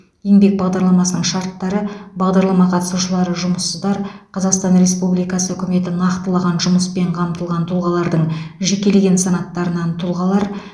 еңбек бағдарламасының шарттары бағдарлама қатысушылары жұмыссыздар қазақстан республикасы үкіметі нақтылаған жұмыспен қамтылған тұлғалардың жекелеген санаттарынан тұлғалар